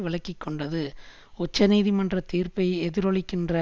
விலகிக்கொண்டது உச்சநீதிமன்ற தீர்ப்பை எதிரொலிக்கின்ற